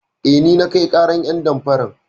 Eh, ni na kai ƙarar ƴan damfaran.